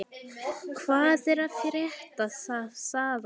Hvað er að frétta þaðan?